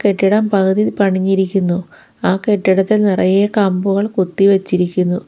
കെട്ടിടം പകുതി പണിഞ്ഞിരിക്കുന്നു ആ കെട്ടിടത്തിൽ നിറയെ കമ്പുകൾ കുത്തി വെച്ചിരിക്കുന്നു.